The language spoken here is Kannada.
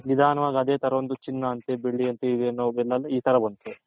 ನಿದಾನವಾಗಿ ಅದೇ ತರ ಒಂದು ಚಿನ್ನ ಅಂತೆ ಬೆಳ್ಳಿ ಅಂತೆ ಈ ತರ ಬಂತು